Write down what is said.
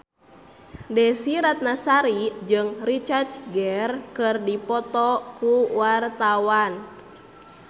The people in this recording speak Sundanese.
Desy Ratnasari jeung Richard Gere keur dipoto ku wartawan